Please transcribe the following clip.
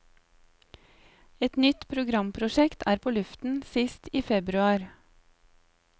Et nytt programprosjekt er på luften sist i februar.